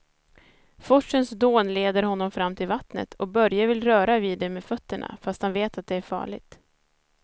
Forsens dån leder honom fram till vattnet och Börje vill röra vid det med fötterna, fast han vet att det är farligt.